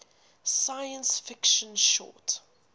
science fiction short